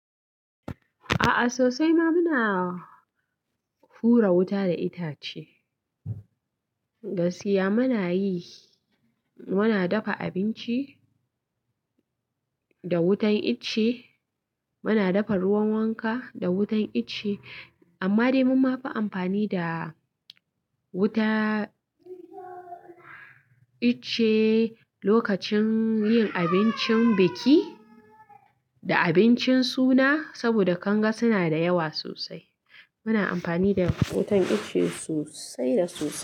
A'a sosai ma muna hura wuta da itace, gaskiya muna yi, muna dafa abinci da wutan ice, muna dafa ruwan wanka da wutan ice amma dai mun mafi amfani da wuta ice lokacin yin abincin biki da abincin suna saboda kanga suna da yawa sosai. Muna amfani da wutan ice sosai da sosai.